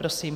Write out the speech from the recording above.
Prosím.